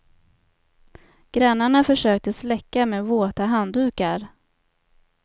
Grannarna försökte släcka med våta handdukar.